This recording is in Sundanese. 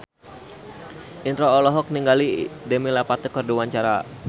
Indro olohok ningali Demi Lovato keur diwawancara